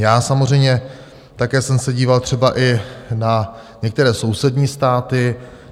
Já samozřejmě také jsem se díval třeba i na některé sousední státy.